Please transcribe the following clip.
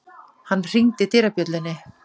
Hann hringdi dyrabjöllunni.